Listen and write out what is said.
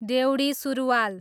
डेउढी सुरुवाल